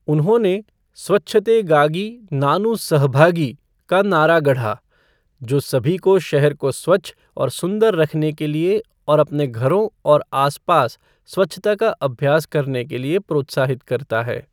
उन्होंने 'स्वच्छतेगागि नानु सहभागि' का नारा गढ़ा, जो सभी को शहर को स्वच्छ और सुंदर रखने के लिए और अपने घरों और आसपास स्वच्छता का अभ्यास करने के लिए प्रोत्साहित करता है।